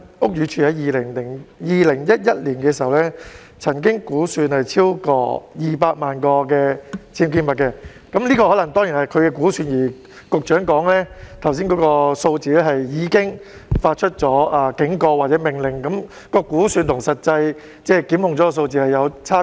屋宇署曾在2011年估算本港有超過200萬個僭建物，這當然可能是估算，而局長剛才說的數字是已經發出警告或命令，但我們看到估算與實際檢控的數字是有差別。